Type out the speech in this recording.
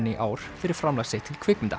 í ár fyrir framlag sitt til kvikmynda